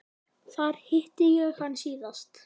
Þar hitti ég hann síðast.